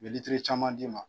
U bɛ litiri caman d'i ma.